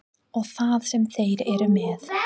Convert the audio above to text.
Og það sem þeir eru með.